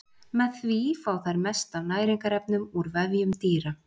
Með því fá þær mest af næringarefnum úr vefjum dýra.